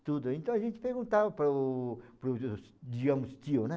tudo. Então a gente perguntava para o para o, digamos, tio, né?